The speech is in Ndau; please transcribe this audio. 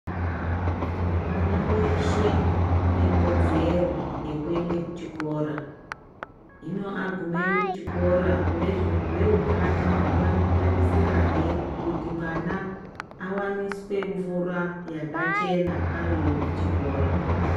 Mwana weshe unekodzero yekuende kuchikora. Hino agumeyo veutano vanotarisirahe kuti mwana awaniswe mvura yakachena ariyo kuchikora.